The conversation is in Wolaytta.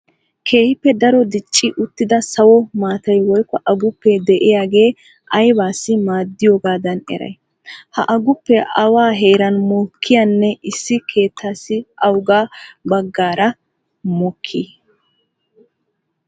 Keehippe daro dicci uttida sawo maatay woykko aguppee de'iyagee aybaassi maaddiyogaadan eray? Ha aguppe awa heeran mokkiyanne issi keettaassi awugaa baggaara mokkii?